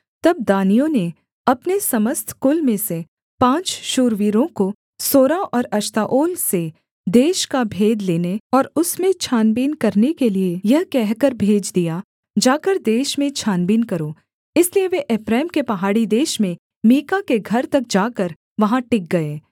तब दानियों ने अपने समस्त कुल में से पाँच शूरवीरों को सोरा और एश्ताओल से देश का भेद लेने और उसमें छानबीन करने के लिये यह कहकर भेज दिया जाकर देश में छानबीन करो इसलिए वे एप्रैम के पहाड़ी देश में मीका के घर तक जाकर वहाँ टिक गए